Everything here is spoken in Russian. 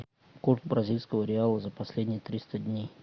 курс бразильского реала за последние триста дней